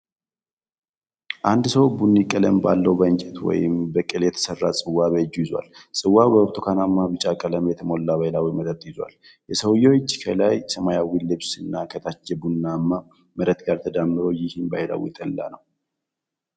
አንድ ሰው ቡኒ ቀለም ባለው በእንጨት ወይም በቅል የተሠራ ጽዋ በእጁ ይዟል። ጽዋው በብርቱካናማ ቢጫ ቀለም የተሞላ ባህላዊ መጠጥ ይዟል። የሰውየው እጅ፣ ከላይ ሰማያዊ ልብስ እና ከታች ቡኒማ መሬት ጋር ተዳምሮ፣ ይህን ባህላዊ ጠላ ነው።